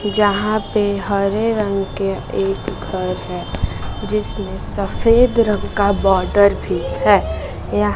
जहां पे हरे रंग के एक घर है जिसमें सफेद रंग का बॉर्डर भी है